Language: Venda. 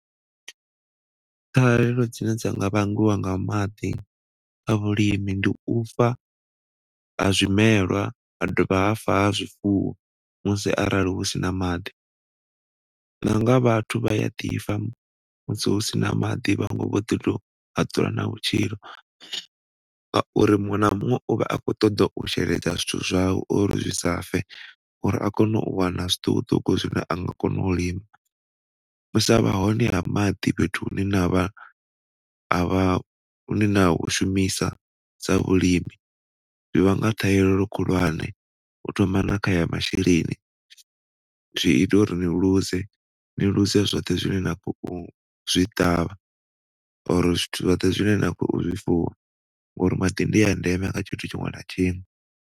Ṱhahelelo dzine dza nga vhangwa nga maḓi kha vhulimi ndi u fa ha zwimelwa ha dovha ha fa ha zwifuwo musi arali hu sina maḓi nanga vhathu vhaya ḓi fa musi hu sina maḓi vhaṅwe vho ḓi tou a dzula nao ngauri muṅwe na muṅwe u vha a khou ṱoḓa u sheledza zwithu zwawe uri zwisa fe, uri a kone u wana zwiṱukuṱuku zwine a nga kona u lima. U sa vha hone ha maḓi fhethu hune navha ha vha ni ne na hu shumisa sa vhulimi zwivhanga ṱhahelelo khulwane, u thoma na khaya masheleni zwi ita uri ni luze, ni luze zwoṱhe zwine na khou zwi ṱavha ngauri zwithu zwoṱhe zwine na kho zwifuwa ngauri maḓi ndi a ndeme kha a tshithu tshiṅwe na tshiṅwe.